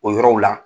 O yɔrɔw la